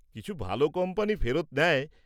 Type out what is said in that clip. কিছু ভাল কোম্পানি ফেরত নেয়।